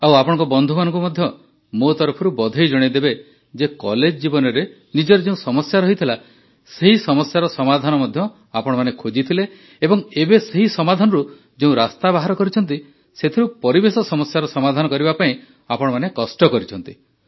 ଆଉ ଆପଣଙ୍କ ବନ୍ଧୁମାନଙ୍କୁ ମଧ୍ୟ ମୋ ତରଫରୁ ବଧେଇ ଜଣାଇଦେବେ ଯେ କଲେଜ୍ ଜୀବନରେ ନିଜର ଯେଉଁ ସମସ୍ୟା ରହିଥିଲା ସେହି ସମସ୍ୟାର ସମାଧାନ ମଧ୍ୟ ଆପଣମାନେ ଖୋଜିଥିଲେ ଏବଂ ଏବେ ସେହି ସମାଧାନରୁ ଯେଉଁ ରାସ୍ତା ବାହାର କରିଛନ୍ତି ସେଥିରୁ ପରିବେଶ ସମସ୍ୟାର ସମାଧାନ କରିବା ପାଇଁ ଆପଣମାନେ କଷ୍ଟ କରିଛନ୍ତି